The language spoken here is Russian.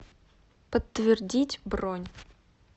подтвердить бронь